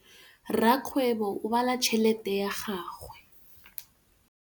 Rakgwêbô o bala tšheletê ya gagwe.